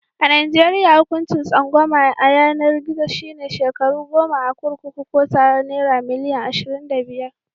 A najeriya, hukuncin tsangwama a yanar gizo shi ne shekaru goma a kurkuku Ko tarar naira milian ashirin da biyar.